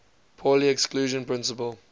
pauli exclusion principle